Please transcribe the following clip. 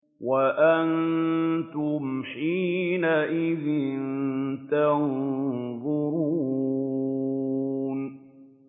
وَأَنتُمْ حِينَئِذٍ تَنظُرُونَ